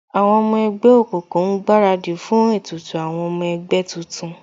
Àwọn ọmọ ẹgbẹ́ òkùnkùn ń gbaradì fún ètùtù àwọn ọmọ ẹgbẹ́ tuntun